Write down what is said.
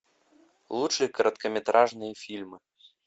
лучшие короткометражные фильмы